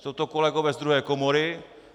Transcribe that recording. Jsou to kolegové z druhé komory.